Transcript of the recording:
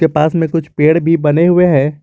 पास में कुछ पेड़ भी बने हुए हैं।